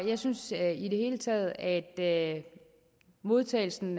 jeg synes i det hele taget at modtagelsen